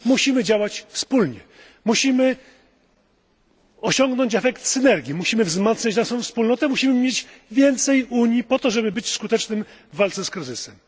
Musimy działać wspólnie, musimy osiągnąć efekt synergii, musimy wzmacniać naszą wspólnotę, musimy mieć więcej Unii po to, żeby być skutecznymi w walce z kryzysem.